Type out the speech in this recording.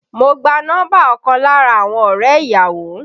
Mo gba nọ́mbà ọkàn lára àwọn ọrẹ ìyàwó